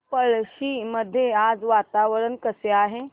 पळशी मध्ये आज वातावरण कसे आहे